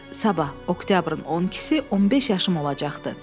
Sabah oktyabrın 12-si 15 yaşım olacaqdı.